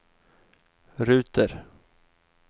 ruter